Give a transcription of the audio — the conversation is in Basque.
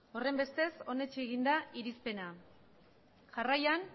horrenbestez onetsi egin da irizpena jarraian